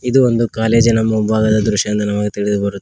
ಇದು ಒಂದು ಕಾಲೇಜಿನ ಮುಂಭಾಗದ ದೃಶ್ಯ ಎಂದು ನಮಗೆ ತಿಳಿದು ಬರು--